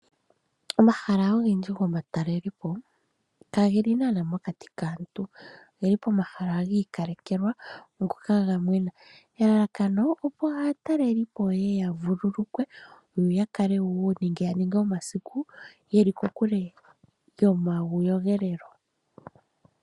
Omahala ogendji goma talelepo kageli naana nomaki kaantu ,oge li poma hala giikalekelwa ngoka gaga menwa elalakapo opo aatalelipo yeye ya vululukwe yo yakale wo nenge yaninge omasiku yeli kokule nomayogelelo.